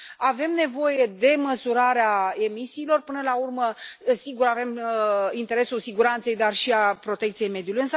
Avem nevoie de măsurarea emisiilor, până la urmă, sigur, avem interesul siguranței, dar și al protecției mediului.